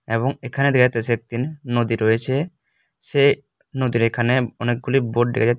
এবং এখানে দেখাইতাছে একতিন নদী রয়েছে সে নদীর এখানে অনেকগুলি বোর্ড দেখা যাই--